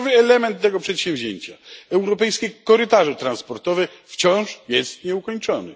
Kluczowy element tego przedsięwzięcia europejskie korytarze transportowe wciąż jest nieukończony.